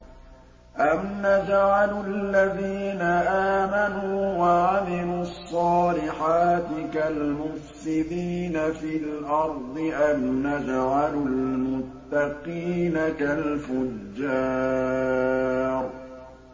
أَمْ نَجْعَلُ الَّذِينَ آمَنُوا وَعَمِلُوا الصَّالِحَاتِ كَالْمُفْسِدِينَ فِي الْأَرْضِ أَمْ نَجْعَلُ الْمُتَّقِينَ كَالْفُجَّارِ